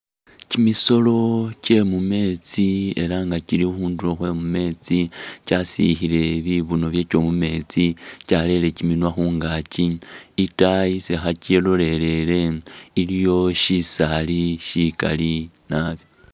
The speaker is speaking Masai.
Kimisolo kye mumeetsi ela nga kili khundulo khwe kameetsi kyasikhiile bibuno bakyo mumeetsi kyarere kiminwa khungaaki, itaayi isi kilolelele iliyo shisaali shikali nabi.